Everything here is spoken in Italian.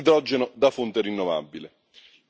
e l'idrogeno da fonte rinnovabile.